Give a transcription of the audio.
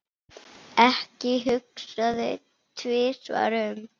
Ekki hugsa þig tvisvar um.